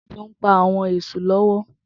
Tobi n pá áwòn èṣú lòwò